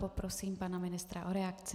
Poprosím pane ministra o reakci.